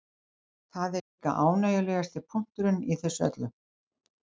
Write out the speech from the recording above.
Það er líka ánægjulegasti punkturinn í þessu öllu